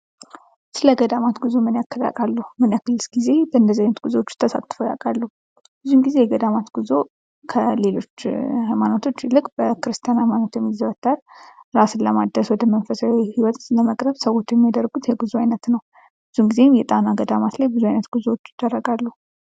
ስለ ገዳማት ጉዞ ምን ያህል ያውቃሉ ምን ያህል በእንደዚ አይነት ጊዜ ተሳትፎ ያውቃሉ? ብዙ ጊዜ የገዳማት ጉዞ ከሌሎች ሃይማኖቶች ይልቅ በኦርቶዶክስ ተዋህዶ ቤተክርስቲያን ሃይማኖት የሚዘወትር እራስን ለማደስ ወደ መንፈሳዊ ህይወት ለመቅረብ ሰዎች የሚያደርጉት የመንፈሳዊ ጉዞ አይነት ነው የጣና ገዳማት ላይ ምን አይነት ጉዞዎች ይደረጋሉ?